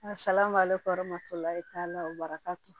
A salaman b'ale kɔrɔ matɔla de t'a lakato